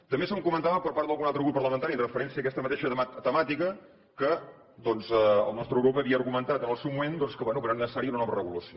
també se’m comentava per part d’algun altre grup parlamentari amb referència a aquesta mateixa temàtica que doncs el nostre grup havia argumentat en el seu moment que bé que no era necessària una nova regulació